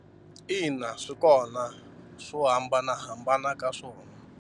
Ina swi kona swo hambanahambana ka swona.